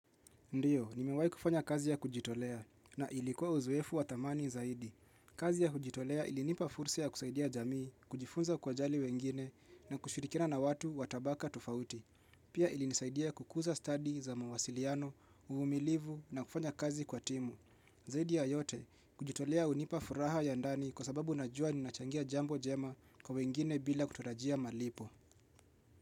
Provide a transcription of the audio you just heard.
Ndiyo, nimewai kufanya kazi ya kujitolea na ilikuwa uzoefu wa thamani zaidi. Kazi ya kujitolea ilinipa fursa ya kusaidia jamii, kujifunza kuwajali wengine na kushirikiana na watu wa tabaka tofauti. Pia ilinisaidia kukuza study za mawasiliano, umilivu na kufanya kazi kwa timu. Zaidi ya yote, kujitolea unipa furaha ya ndani kwa sababu najua ninachangia jambo jema kwa wengine bila kutarajia malipo.